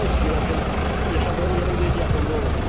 Mən də istəyirəm ki, yaşadığım yerin qeydiyyatında olum.